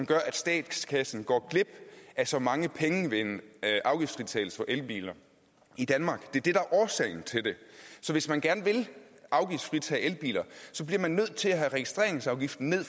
gør at statskassen går glip af så mange penge ved en afgiftsfritagelse for elbiler i danmark det det er årsagen til det så hvis man gerne vil afgiftsfritage elbiler bliver man nødt til også at have registreringsafgiften ned